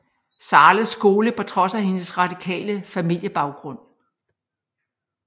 Zahles Skole på trods af hendes radikale familiebaggrund